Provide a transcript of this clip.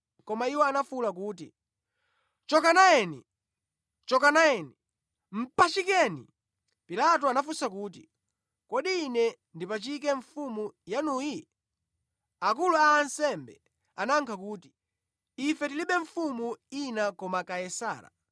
Koma iwo anafuwula kuti, “Choka nayeni! Choka nayeni! Mpachikeni!” Pilato anafunsa kuti, “Kodi ine ndipachike mfumu yanuyi?” Akulu a ansembe anayankha kuti, “Ife tilibe mfumu ina koma Kaisara.”